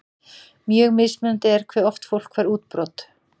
Mjög mismunandi er hve oft fólk fær útbrot.